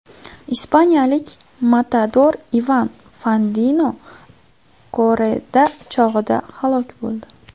Ispaniyalik matador Ivan Fandino korrida chog‘ida halok bo‘ldi.